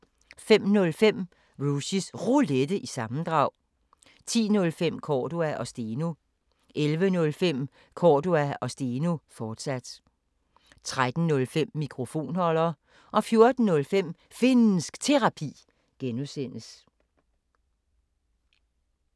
05:05: Rushys Roulette – sammendrag 10:05: Cordua & Steno 11:05: Cordua & Steno, fortsat 13:05: Mikrofonholder 14:05: Finnsk Terapi (G)